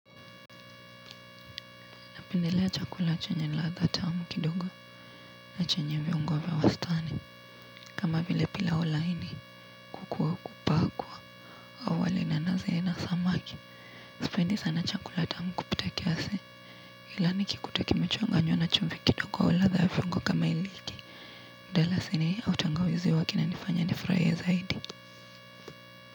Napendelea chakula chenye ladha tamu kidogo na chenye viungo vya wastani kama vile pilau laini kuku wa kupakwa. Sipendi sana chakula tamu kupita kiasi ila nikikuta kimechanganywa na chumvi kidogo au ladha ya viungo kama iliki. Mdalasini au tangawizi huwa kinanifanya nifurahie zaidi.